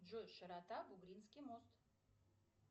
джой широта бугринский мост